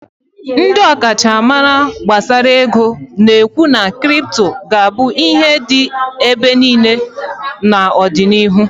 Ndị ọkachamara gbasara ego na-ekwu na crypto ga-abụ ihe dị ebe niile n'ọdịnihu